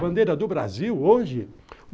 Bandeira do Brasil, hoje?